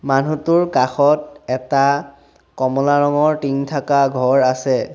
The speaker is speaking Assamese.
মানুহটোৰ কাষত এটা কমলা ৰঙৰ টিং থাকা ঘৰ আছে।